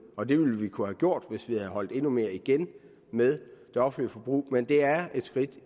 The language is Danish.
og det ville vi kunne have gjort hvis vi havde holdt endnu mere igen med det offentlige forbrug men det er et skridt